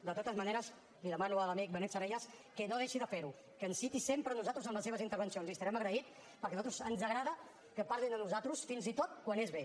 de totes maneres li demano a l’amic benet salellas que no deixi de ferho que ens citi sempre a nosaltres en les seves intervencions li estarem agraït perquè a nosaltres ens agrada que parlin de nosaltres fins i tot quan és bé